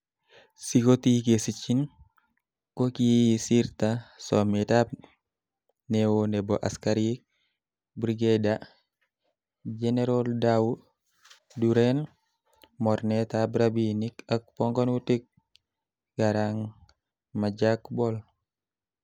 Sikotii kesinyin, ko kiisirta sometab neo nebo askarik Brigadier Ge�eral Dau Duur, en mornetab rabinik ak pongonutik Garang Majak Bol